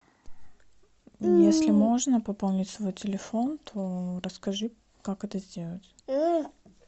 если можно пополнить свой телефон то расскажи как это сделать